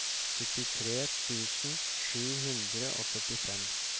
syttitre tusen sju hundre og førtifem